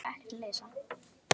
Ég heyri hana ekki hlæja